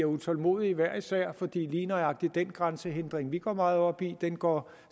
utålmodige hver især fordi lige nøjagtig den grænsehindring som vi går meget op i går